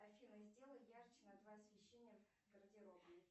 афина сделай ярче на два освещения в гардеробной